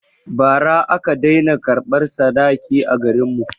Ba ra aka dai na karɓan sadaki a garin mu